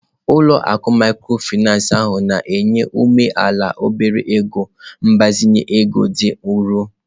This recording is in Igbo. Ụlọ akụ mikrofinansị ahụ na-enye ụmụ amaala obere ego mgbazinye ego dị nro.